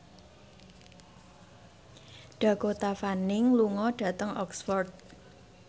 Dakota Fanning lunga dhateng Oxford